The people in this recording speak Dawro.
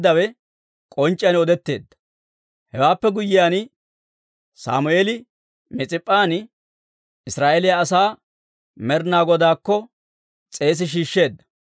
Hewaappe guyyiyaan, Sammeeli Mis'ip'p'an Israa'eeliyaa asaa Med'inaa Godaakko s'eesi shiishsheedda.